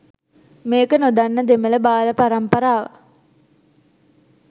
මේක නොදන්න දෙමළ බාල පරම්පරාව